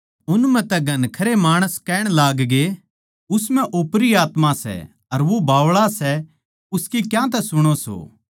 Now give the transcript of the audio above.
उन म्ह तै घणखरे माणस कहण लागगे उस म्ह ओपरी आत्मा सै अर वो बावळा सै उसकी क्यांतै सुणो सो